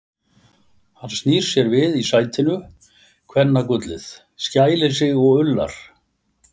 Hann snýr sér við í sætinu, kvennagullið, skælir sig og ullar.